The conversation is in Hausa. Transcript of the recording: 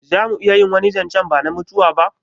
Zamu iya wani zancen bana mutuwa ba?